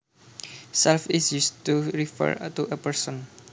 Self is used to refer to a person